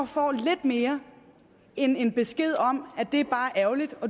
få lidt mere end en besked om at det er bare ærgerligt og